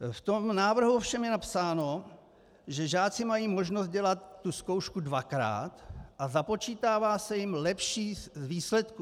V tom návrhu ovšem je napsáno, že žáci mají možnost dělat tu zkoušku dvakrát a započítává se jim lepší z výsledků.